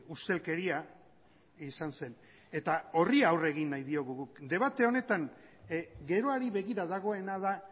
ustelkeria izan zen eta horri aurre egin nahi diogu guk debate honetan geroari begira dagoena da